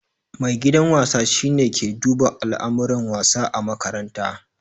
Maigidan wasa shi ne ke duba alamuran wasa ã makaranta.